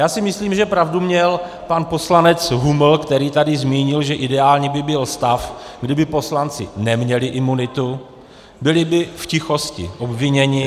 Já si myslím, že pravdu měl pan poslanec Huml, který tady zmínil, že ideální by byl stav, kdyby poslanci neměli imunitu, byli by v tichosti obviněni.